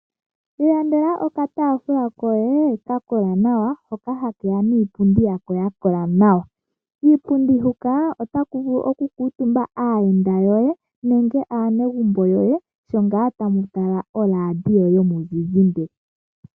Ilandela okataafula koye ka kola nawa hoka hake ya niipundi yako ya kola nawa. Kiipundi huka otaku vulu okukuutumba aayenda yoye nenge aanegumbo lyoye sho ngaa tamu tala oradio yomuzizimba.